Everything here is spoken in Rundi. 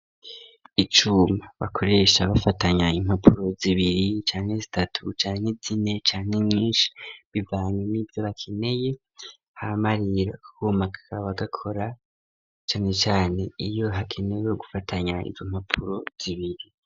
Icuma bakoresha bafatanya impapuro zibiri canke zitatu canke zine canke nyinshi bivanye n'ivyo bakeneye ,hama rero ako kuma kaba gakora cane cane iyo hakenewe gufatanya izo mpapuro zibiri.